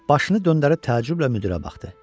Başını döndərib təəccüblə müdirə baxdı.